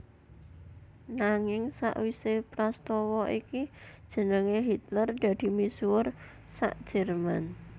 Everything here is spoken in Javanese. Nanging sawisé prastawa iki jenengé Hitler dadi misuwur sa Jerman